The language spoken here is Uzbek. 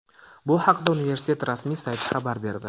Bu haqda universitet rasmiy sayti xabar berdi .